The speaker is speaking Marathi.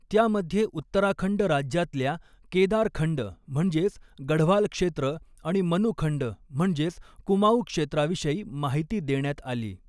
त्यामध्ये उत्तराखंड राज्यातल्या केदार खंड म्हणजेच गढवाल क्षेत्र आणि मनू खंड म्हणजेच कुमाँऊ क्षेत्राविषयी माहिती देण्यात आली.